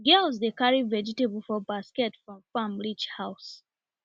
girls dey carry vegetable for basket from farm reach house